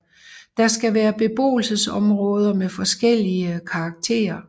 Der skal være beboelsesområder med forskellige karakter